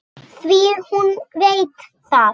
Því hún veit það.